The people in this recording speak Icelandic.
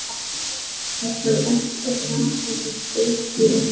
Það var elsti grasagarður í Evrópu.